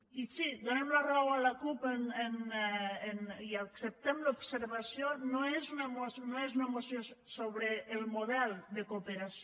i sí donem la raó de la cup i acceptem l’observació no és una moció sobre el model de cooperació